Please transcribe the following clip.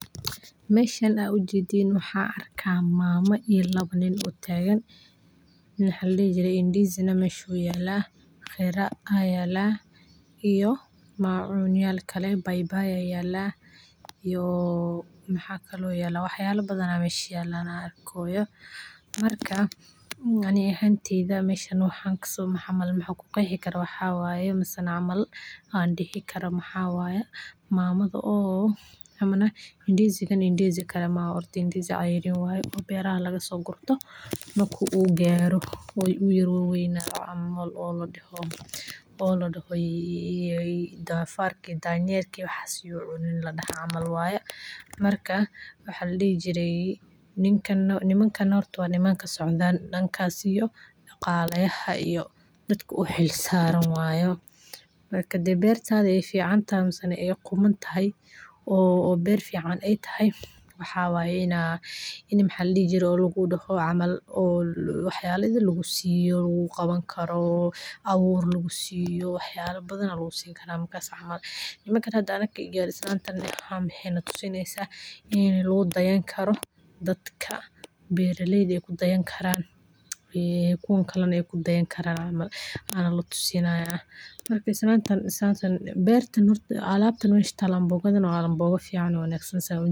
meshan aad ujeedin waxa arka mama, iyo lawa nin oo tagan waxa ladixi jire ndizi, nex meesh uyala qira aa yala iyo macunyal kale baybay iyo maxa kale oo yala wax yala badan aa mesha yala aan arkoya marka ani axanteyda meshan waxan kuqexi kara maxa waye mase cml andixi karo maxa waye mamada oo amana ndizi gan ndizi gan ndizi ceyrin waye oo beraxa lagasogurto marka uugaro uu yar wawa waynado oo ladaqo oo dofarka iyo danyerka uu cunin camal waye marka waxa ladixi jire ninka ama nimankan horta wa niman kasocdan dankas iyo daqala yaxa iyo dadka uxil saran marka hadey bertada aay fican taxay, mse nex ay quman taxay oo ber fican ay taxay waxa waye inaa maxa ladixi jire lagudaxo oo wax yala idil lagusiyo oo lagu qawan karo awur lagu siyo waxyala badan aya lagusin kara markas camal iminkan anaka hada garis waxay natusinesa in lagudayan karo dadka beraleyda ayku dayan karan, ee ay kuwan kalena ay kudayan karan camal aa nala tusinaya marka isklantan bertan alabtan meesha taalo mbogadan waa mboga ficaan.